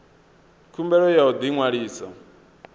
khumbelo ya u ḓi ṅwalisa